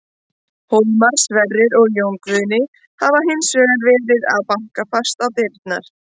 Hólmar, Sverrir og Jón Guðni hafa hins vegar verið að banka fast á dyrnar.